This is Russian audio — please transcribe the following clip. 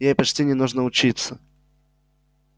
ей почти не нужно учиться